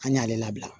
An y'ale labila